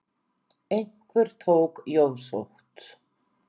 Einhver tók jóðsótt.